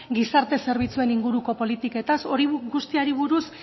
gizarte zerbitzuen inguruko politiketaz hori guztiari buruz